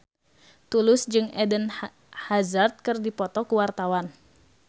Tulus jeung Eden Hazard keur dipoto ku wartawan